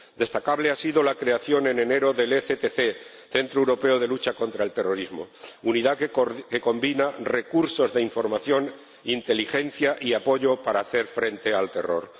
Destacable ha sido la creación en enero del ECTC —Centro Europeo de Lucha contra el Terrorismo—, unidad que combina recursos de información, inteligencia y apoyo para hacer frente al terror.